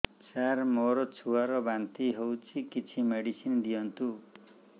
ସାର ମୋର ଛୁଆ ର ବାନ୍ତି ହଉଚି କିଛି ମେଡିସିନ ଦିଅନ୍ତୁ